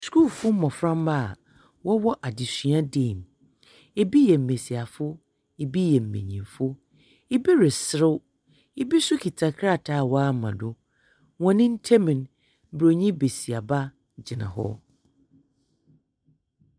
Sukuufoɔ mbɔframba a wɔwɔ adesua dan mu. Ibi yɛ mbesiafo, ibi yɛ mbenyimfo, ibi reserew, ibi nso kita krataa a wɔama do. Wɔn ntam no, buroni besiaba gyina hɔ.